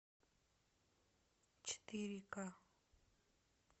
четыре ка